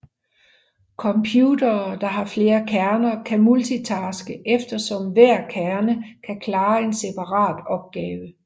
Computere der har flere kerner kan multitaske eftersom hver kerne kan klare en separat opgave